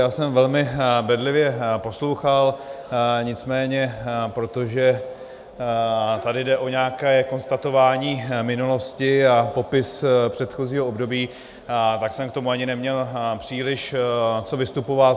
Já jsem velmi bedlivě poslouchal, nicméně protože tady jde o nějaké konstatování minulosti a popis předchozího období, tak jsem k tomu ani neměl příliš co vystupovat.